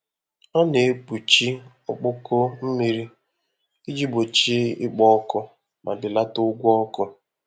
Ọ na-ekpuchi ọkpọkọ mmiri iji gbochie ikpo ọkụ ma belata ụgwọ ọkụ.